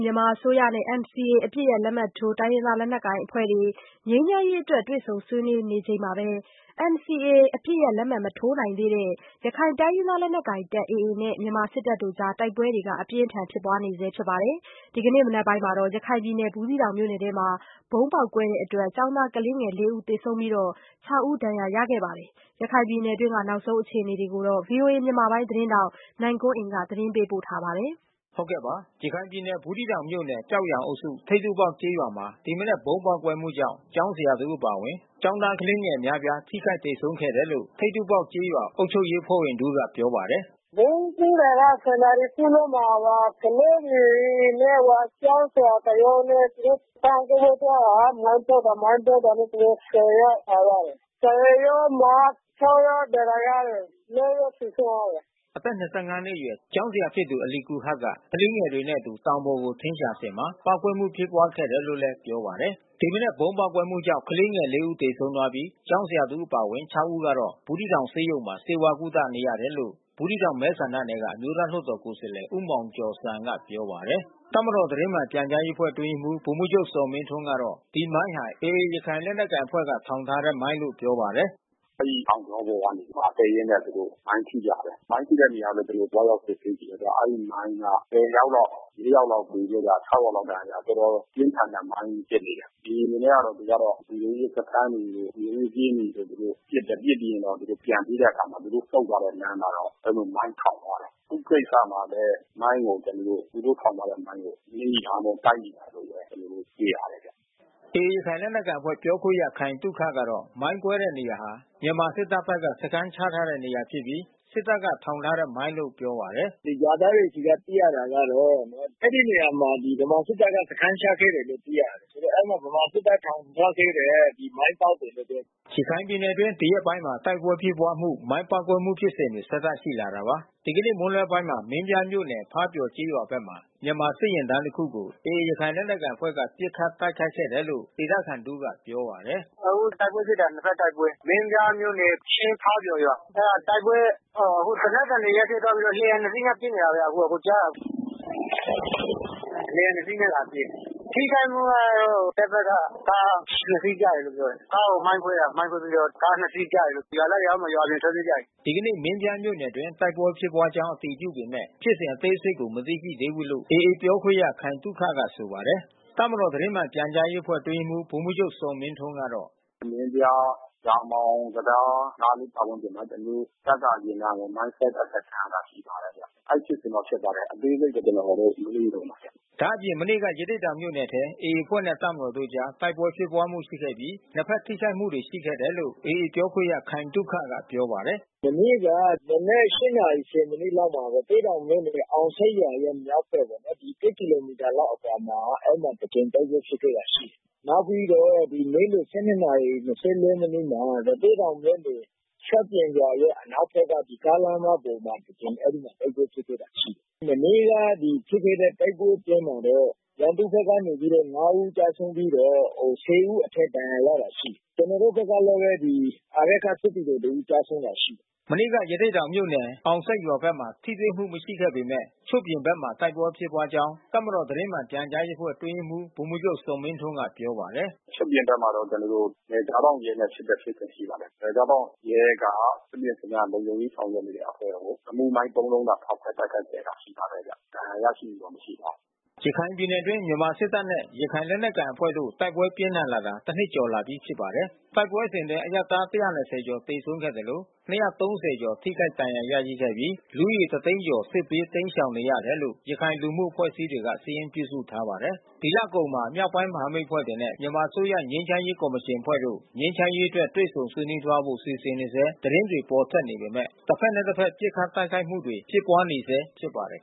မြန်မာအစိုးရနဲ့NCA အပစ်ရပ်လက်မှတ်ထိုး တိုင်းရင်းသားလက်နက်အဖွဲ့တွေနဲ့ ငြိမ်းချမ်းရေးအတွက် တွေ့ဆုံဆွေး နွေးတော့မယ့် အချိန်မှာဘဲ NCA မထိုးနိုင်သေးတဲ့ ရခိုင်လက်နက်ကိုင် AA နဲ့မြန်မာစစ်တပ်တို့ အကြား တိုက်ပွဲပြင်းထန် ဖြစ်ပွားနေဆဲဖြစ်သလို ဒီနေ့မနက် ဘူးသီးတောင်မြို့နယ် အတွင်း ဗုံးပေါက်ကွဲမှုကြောင့် ကျောင်းသား ကလေးငယ် (၄) ဦးသေဆုံးပြီး (၆) ဦးဒဏ် ရာ ရရှိခဲ့တယ်လို့ ဒေသခံတွေက ပြောပါတယ်။ ရခိုင်ပြည်နယ်တွင်း နောက်ဆုံး အ ခြေ နေ တွေကို ဗွီအိုအေမြန်မာပိုင်း သတင်းထောက်နိုင်ကွန်းအိန် ကနေ သတင်းပေးပို့ထားပါတယ်။ ရခိုင်ပြည်နယ်၊ ဘူးသီးတောင်မြို့နယ် ကျောက်ရန်အုပ်စု ထိပ်ထူးပေါက်ကျေးရွာမှာ ဒီမနက်ဗုံးပေါက်ကွဲမှုကြောင့် ကျောင်းဆရာတဦးအပါဝင် ကျောင်းသား ကလေးငယ် အများပြား ထိခိုက်သေဆုံးခဲ့တယ်လို့ ထိပ်တူးပေါက်ကျေးရွာ အုပ်ချုပ်ရေးအဖွဲ့ဝင်တဦး ကပြောပါတယ်။ “ဗုံးကွဲတာက (၁၀)နာရီခွဲလောက်မှာ ကလေးတွေနဲ့ကျောင်းဆရာတယောက်နဲ့ သူတို့တောင်ပေါ်ကို သွားတာ မိုင်း ပေါက်တာ မိုင်းကွဲတာနဲ့သူတို့(၁၀ )ယောက်သွားရတယ်။ (၁၀)ယောက်မှာ (၆)ယောက် ဒဏ်ရာရတယ်။ (၄)ယောက် သေဆုံးသွားတယ်။” အသက် ၂၅ နှစ်အရွယ် ကျောင်းဆရာဖြစ်သူ အာလီကူဟာရ်က ကလေးတွေနဲ့အတူ တောင်ပေါ်ကို ထင်းရှာစဉ်မှာ ပေါက်ကွဲမှုဖြစ်ခဲ့တာလို့ လည်း ပြောပါတယ်။ ဒီမနက်ဗုံး ပေါက်ကွဲမှု ကြောင့် ကလေးငယ်(၄) ဦးသေဆုံးပြီး ကျောင်းဆရာတဦး အပါဝင်(၆) ဦး ကတော့ ဘူးသီးတောင်ဆေးရုံမှာ ဆေးဝါး ကုသ နေရတယ် လို့ ဘူးသီးတောင်မဲဆန္ဒနယ်က အမျိုးသားလွှတ်တော် ကိုယ်စားလှယ် ဦးမောင်ကျော်ဇံ ကပြောပါတယ်။ တပ်မတော် သတင်းမှန်ပြန်ကြားရေးအဖွဲ့အတွင်းရေးမှူး ဗိုလ်မှူးချုပ်ဇော်မင်းထွန်းကတော့ ဒီမိုင်းဟာ AA ရခိုင် လက်နက်ကိုင်အဖွဲ့က ထောင်ထားတဲ့မိုင်းလို့ပြောပါတယ်။ “အဲဒီတောင်ကြောပေါ် ကတက်ရင်းနဲ့ မိုင်းထိကြတယ်။ မိုင်းထိတဲ့နေရာလဲ ကျွန်တော်တို့ သွားရောက်စစ်ဆေးကြည့်တယ်။ အဲဒီမိုင်းက (၁၀)ယောက်လောက် (၄)ယောက်လောက် သေပြီးတော့ (၆)ယောက်လောက် ဒဏ်ရာရသွားတယ်။ တော်တော် ပြင်းထန်တဲ့မိုင်းဖြစ်တယ်။ AA အနေနဲ့က သူကတော့ လုံခြုံရေးစခန်းတွေ လုံခြုံရေးကင်းတွေကို သူတို့ပစ်တယ်။ ပစ်ပြီးတော့ သူတို့ပြန်ပြေးတဲ့အခါမှာ သူုတို့ဆုတ်သွားတဲ့ လမ်းမှာတော့ အဲဒီလို မိုင်းထောင်သွားတယ်။ အခုကိစ္စမှာလဲမိုင်းကို သူတို့ထောင်ထားတဲ့မိုင်းကို နင်းမိတာတို့ တိုက်မိတာတို့ ဘဲ ကျွန်တော်တို့တွေ့ရတယ်ဗျ။” AA ရခိုင်လက်နက်ကိုင်အဖွဲ့ပြောခွင့်ရ ခိုင်သုခကတော့ မိုင်းကွဲတဲ့နေရာဟာ မြန်မာစစ်တပ်ဘက်က စခန်းချထားတဲ့နေရာ ဖြစ်ပြီး စစ်တပ်ကထောင်ထားတဲ့ မိုင်းလို့ပြောပါတယ်။ “ရွာသားတွေဆီက သိရတာကတော့ အဲဒီနေရာမှာ ဗမာစစ်တပ်ဘက်က စခန်းချခဲ့တယ်လို့သိရတယ်။ ဆိုတော့ အဲဒီဗမာ စစ်တပ်ထောင်ထားခဲ့တဲ့ မိုင်းပေါက်တယ်လို့ပြောတယ်။” ရခိုင်ပြည်နယ်အတွင်း ဒီရက်ပိုင်းမှာ တိုက်ပွဲဖြစ်ပွားမှု မိုင်းပေါက်ကွဲမှုဖြစ်စဉ်တွေ ဆက်တိုက် ရှိလာတာပါ။ ဒီကနေ့မွန်းလွှဲပိုင်းမှာ မင်းပြားမြို့နယ် ဖားပျော်ကျေးရွာဘက်မှာ မြန်မာစစ်တပ်ယာဉ်တန်းတခုကို AAရခိုင်လက်နက် ကိုင်အဖွဲ့ဘက်က ပစ်ခတ်တိုက်ခိုက်တယ်လို့ ဒေသခံတဦးကပြောပါတယ်။ “အခုတိုက်ပွဲဖြစ်တာ နှစ်ဖက်တိုက်ပွဲ။ မင်းပြားမြို့နယ် ချင်းဖါးပျော်ရွာ။ အဲတာတိုက်ပွဲ အခု သေနတ်သံတွေ ရပ်သွားပြီးတော့ လေယာဉ်နှစ်စီးနဲ့ပစ်နေတာဗျ အကိုကြားလား။ လေယာဉ်နှစ်စီးနဲ့လာပစ်တယ်။ ထိခိုက်မှုကတော့ တပ်ဘက်က ကားနှစ်စီးကျတယ်လို့ပြောတယ်။ ကားကိုမိုင်းခွဲတာ မိုင်းခွဲပြီးတော့ ကားနှစ်စီးကျတယ်လို့။ ရွာသားတွေ တော့ အောက်မှာ ထွက်ပြေးကြတယ်။” ဒီနေ့မင်းပြားမြို့နယ်အတွင်း တိုက်ပွဲဖြစ်ပွားကြောင်းအတည်ပြုပေမဲ့ ဖြစ်စဉ်အသေးစိတ်ကို မသိရှိ သေးဘူးလို့ AAပြောခွင့်ရ ခိုင်သုခကဆိုပါတယ်။ တပ်မတော်သတင်းမှန်ပြန်ကြားရေးအဖွဲ့အတွင်းရေးမှူး ဗိုလ်မှူးချုပ်ဇော်မင်းထွန်းကတော့ “မင်းပြား၊ ရာမောင်တံတားပတ်ဝန်းကျင်မှာ ကျွန်တော်တို့တပ်ကယာဉ်တန်းကို မိုင်းဆွဲတိုက်ခိုက်ခံရတာ ရှိပါတယ်ဗျ။ အဲဒီဖြစ်စဉ်တော့ဖြစ်ပါတယ်။ အသေးစိတ်ကိုတော့ ကျွန်တော်တို့ မေးနေတုန်းပါဗျ။” ဒါ့အပြင် မနေ့က ရသေ့တောင်မြို့နယ်ထဲမှာ AAအဖွဲ့နဲ့တပ်မတော်တို့အကြား တိုက်ပွဲဖြစ်ပွားမှုရှိခဲ့ပြီး နှစ်ဖက်ထိခိုက်မှု တွေရှိခဲ့တယ်လို့ AAပြောခွင့်ရခိုင်သုခကပြောပါတယ်။ “မနေ့က မနက်(၈)နာရီ(၁၀)မိနစ်လောက်မှာ အောင်ဆိပ်ရွာရဲ့မြောက်ဖက်ပေါ့နော်။ (၁) ကီလိုမီတာလောက်အကွာမှာ အဲဒီမှာတကြိမ်တိုက်ပွဲဖြစ်ခဲ့တာရှိတယ်။ နောက်ပြီးတော့နေ့လည်(၁၂)နာရီ(၂၄)မိနစ်မှာ ရသေ့တောင်မြို့နယ် ချွတ်ပြင်ရွာရဲ့အနောက်ဖက်က ကားလမ်းမပေါ်မှာ အဲဒီမှာတိုက်ပွဲဖြစ်ပွားခဲ့တာရှိတယ်။ မနေ့က ဖြစ်ခဲ့တဲ့တိုက်ပွဲ အတွင်းမှာတော့ ရန်သူဘက်က(၅)ဦးကျဆုံးပြီးတော့(၁၀)ဦးအထက်ဒဏ်ရာရတာရှိတယ်။ ကျွန်တော်တို့ဘက်ကလဲဘဲ စစ်သည်တော်တဦး ကျဆုံးတာရှိတယ်။” မနေ့ကရသေ့တောင်မြို့နယ်အောင်ဆိပ်ရွာဖက်မှာထိတွေ့မှုမရှိပေမဲ့ ချွတ်ပြင်ဖက်မှာ တိုက်ပွဲဖြစ်ပွားကြောင်း တပ်မတော် သတင်းမှန်ပြန်ကြားရေးအဖွဲ့အတွင်းရေးမှူး ဗိုလ်မှူးချုပ်ဇော်မင်းထွန်းကပြောပါတယ်။ “ချွတ်ပြင်ဖက်မှာတော့ ကျွန်တော်တို့ နယ်ခြားစောင့်ရဲနဲ့ဖြစ်တဲ့ဖြစ်စဉ်ကရှိပါတယ်။ နယ်ခြားစောင့်ရဲက သူ့ရဲ့စခန်း လုံခြုံရေးဆောင်ရွက်နေတဲ့အဖွဲ့ကို ရီမုမိုင်း(၃)လုံးနဲ့ဖောက်ခွဲတိုက်ခိုက်ခဲ့တာရှိပါတယ်ဗျ။ ဒဏ်ရာရရှိမှုတော့ မရှိပါဘူး။” ရခိုင်ပြည်နယ်အတွင်း မြန်မာစစ်တပ်နဲ့ရခိုင်လက်နက်ကိုင်အဖွဲ့တို့တိုက်ပွဲပြင်းထန်ဖြစ်ပွားလာတာ တနှစ်ကျော်လာပြီး ဖြစ်ပါတယ်။ တိုက်ပွဲစဉ်အတွင်းအရပ်သား(၁၂၀)ကျော်သေဆုံးခဲ့သလို (၂၃၀)ကျော်ထိခိုက်ဒဏ်ရာရရှိခဲ့ပြီး လူဦးရေတသိန်းကျော် စစ်ဘေးတိမ်းရှောင်နေရတယ်လို့ ရခိုင်လူမှု အဖွဲ့အစည်းတွေက စာရင်းပြုစုထားပါတယ်။ ဒီလအကုန်မှာ မြောက်ပိုင်းမဟာမိတ်အဖွဲ့တွေနဲ့မြန်မာအစိုးရငြိမ်းချမ်းရေးကော်မရှင်အဖွဲ့တို့ ငြိမ်းချမ်းရေးအတွက် တွေ့ဆုံသွားဆွေးနွေးဖို့စီစဉ်နေဆဲသတင်းတွေပေါ်ထွက်နေပေမဲ့ တဖက်နဲ့တဖက် ပစ်ခတ်တိုက်ခိုက်မှု တွေဖြစ်ပွားနေ ဆဲဖြစ်ပါတယ်